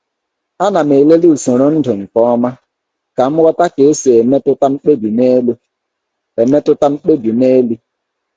A na m elele usoro ndu nke ọma ka m ghọta ka esi emetụta mkpebi n'elu. emetụta mkpebi n'elu.